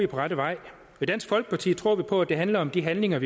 på rette vej i dansk folkeparti tror vi på at det handler om de handlinger